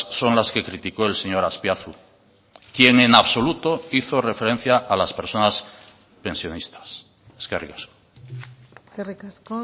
son las que criticó el señor azpiazu quien en absoluto hizo referencia a las personas pensionistas eskerrik asko eskerrik asko